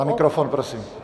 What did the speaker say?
Na mikrofon prosím.